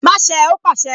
Má ṣé ẹ! Ó pàṣẹ